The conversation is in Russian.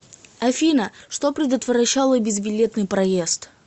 афина что предотвращало безбилетный проезд